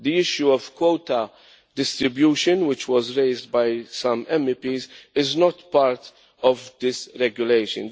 The issue of quota distribution, which was raised by some MEPs, is not part of this regulation.